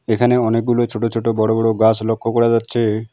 এখানে অনেকগুলো ছোট ছোট বড় বড় গাছ লক্ষ করা যাচ্ছে।